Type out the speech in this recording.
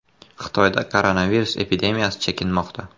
Xitoyda koronavirus epidemiyasi chekinmoqda.